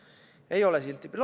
Rahal ei ole silti peal.